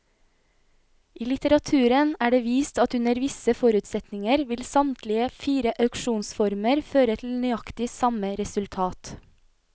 I litteraturen er det vist at under visse forutsetninger vil samtlige fire auksjonsformer føre til nøyaktig samme resultat.